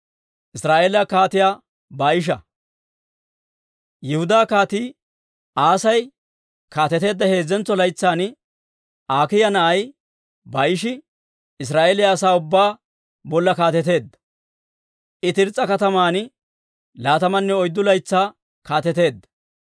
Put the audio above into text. Yihudaa Kaatii Aasi kaateteedda heezzentso laytsan Akiiya na'ay Baa'ishi Israa'eeliyaa asaa ubbaa bolla kaateteedda; I Tirs's'a kataman laatamanne oyddu laytsaa kaateteedda.